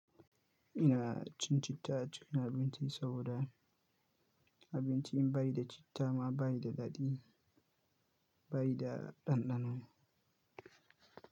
Ina cin citta a cikin abinci saboda abinci in bayi da citta ma bai da daɗi, bai da ɗanɗano.